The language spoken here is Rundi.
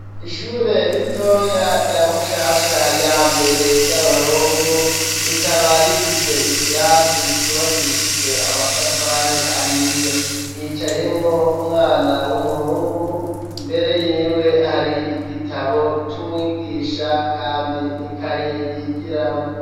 Ishure ritoya rya mushasha ya mbere ry'abahungu rikaba rifise ikirasi cubakishijwe amatafari ahiye, ryicayemwo umwana w'umuhungu mbere yiwe hari igitabo c' umwigisha kandi nikaye yigiramwo.